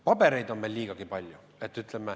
Pabereid on meil liigagi palju.